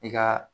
I ka